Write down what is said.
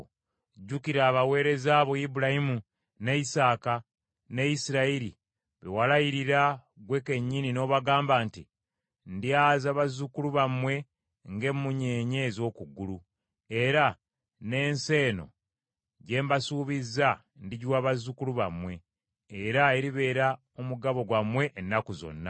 Jjukira abaweereza bo Ibulayimu, ne Isaaka, ne Isirayiri, be walayirira ggwe kennyini, n’obagamba nti, ‘Ndyaza bazzukulu bammwe ng’emmunyeenye ez’oku ggulu, era n’ensi eno gye mbasuubizza ndigiwa bazzukulu bammwe, era eribeera omugabo gwammwe ennaku zonna.’ ”